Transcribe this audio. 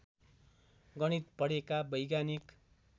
गणित पढेका वैज्ञानिक